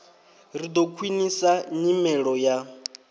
ri ḓo khwiṋisa nyimelo ya